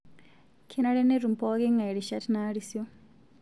Kenare netum pooki ng'ae rishat naarisio